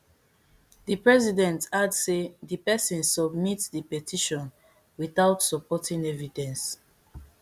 di president add say di pesin submitdi petition without supporting evidence